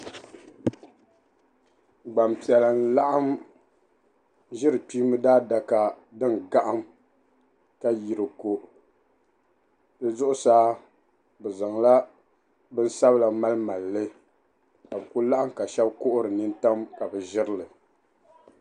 Gbampiɛla n-laɣim ʒiri kpiimba daadaka din gahim ka yi di ko di zuɣusaa bɛ zaŋla binsabila malimali li ka bɛ ku laɣim ka shɛba kuhiri nintam ka bɛ ʒiri li.